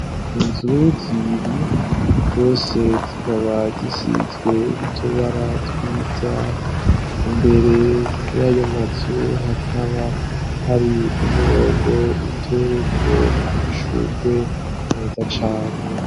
Inzu zibiri zose zikaba zisizwe utubara twiza imbere y'ayo mazu hakaba hari umurongo utewe ko amashurwe meza cane.